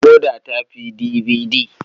Decoder ta fi DVD.